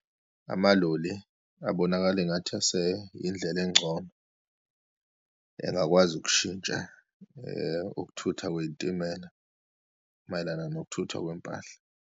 Amaloli abonakale engathi aseyindlela engcono engakwazi ukushintsha ukuthutha kweyitimela mayelana nokuthuthwa kwempahla.